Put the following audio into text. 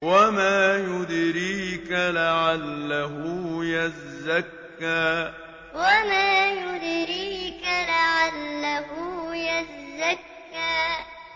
وَمَا يُدْرِيكَ لَعَلَّهُ يَزَّكَّىٰ وَمَا يُدْرِيكَ لَعَلَّهُ يَزَّكَّىٰ